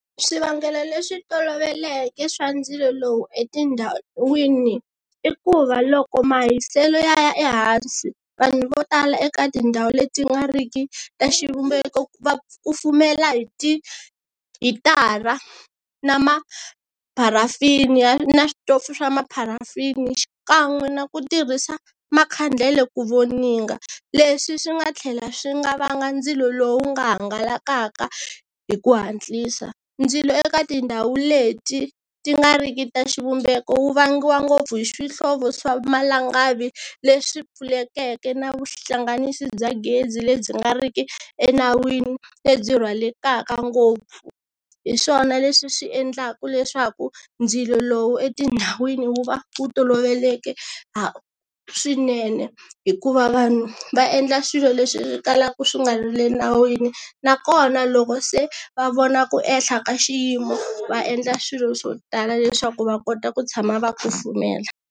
Swivangelo leswi toloveleke swa ndzilo lowu etindhawini i ku va loko mahiselo ya ya ehansi vanhu vo tala eka tindhawu leti nga ri ki ta xivumbeko va kufumela hi ti hitara na mapharafini ya na switofu swa ma pharafini xikan'we na ku tirhisa makhandlela ku voninga, leswi swi nga tlhela swi nga vanga ndzilo lowu nga hangalakaka hi ku hatlisa. Ndzilo eka tindhawu leti ti nga ri ki ta xivumbeko wu vangiwa ngopfu hi swihlovo swa malangavi leswi pfulekeke na vuhlanganisi bya gezi lebyi nga ri ki enawini lebyi rhwalekaka ngopfu. Hi swona leswi swi endlaka leswaku ndzilo lowu etindhawini wu va wu toloveleke swinene hikuva vanhu va endla swilo leswi kalaka swi nga ri le nawini nakona loko se va vona ku ehla ka xiyimo va endla swilo swo tala leswaku va kota ku tshama va kufumela.